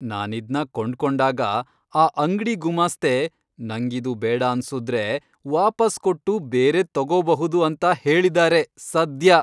ನಾನಿದ್ನ ಕೊಂಡ್ಕೊಂಡಾಗ, ಆ ಅಂಗ್ಡಿ ಗುಮಾಸ್ತೆ ನಂಗಿದು ಬೇಡಾನ್ಸುದ್ರೆ ವಾಪಸ್ ಕೊಟ್ಟು ಬೇರೆದ್ ತಗೋಬಹುದು ಅಂತ ಹೇಳಿದಾರೆ ಸದ್ಯ.